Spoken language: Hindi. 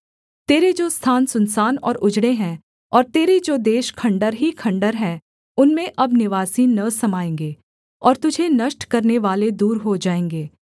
तेरे जो स्थान सुनसान और उजड़े हैं और तेरे जो देश खण्डहर ही खण्डहर हैं उनमें अब निवासी न समाएँगे और तुझे नष्ट करनेवाले दूर हो जाएँगे